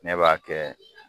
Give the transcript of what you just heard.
Ne b'a kɛ